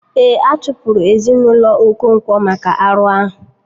Ee, a chụpụrụ ezinaụlọ Okonkwo maka arụ ahụ